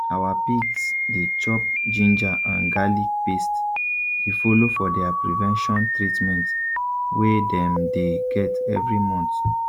our pigs dey chop ginger and garlic paste e follow for their prevention treatment wey dem dey get every month